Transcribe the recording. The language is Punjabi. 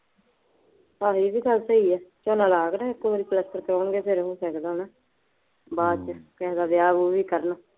ਹਾਂ ਇਹ ਵੀ ਗੱਲ ਸਹੀ ਹੈ ਝੋਨਾ ਲਾ ਕੇ ਨਾ ਇੱਕੋ ਵਾਰੀ ਪਲੱਸਤਰ ਕਰਵਾਉਣਗੇ ਫੇਰ ਉਹਨੇ ਟਿਕ ਜਾਣਾ, ਬਾਅਦ ਚ ਕਿਸੇ ਦਾ ਵਿਆਹ ਵਿਊਹ ਵੀ ਕਰਨਾ